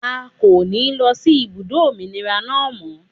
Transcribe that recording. A kò ní lọ sí ibùdó òmìnira náà mọ́.